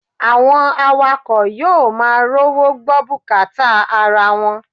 Àwọn awakọ̀ yóò máa rówó gbọ́ bùkátà ara wọn